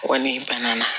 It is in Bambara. Kɔni banna